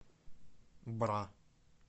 бра